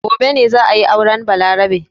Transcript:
Gobe ne za a yi auren Balarabe.